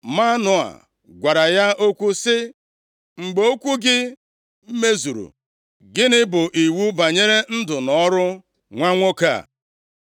Manoa gwara ya okwu sị, “Mgbe okwu gị mezuru, gịnị bụ iwu banyere ndụ na ọrụ nwa nwoke a?”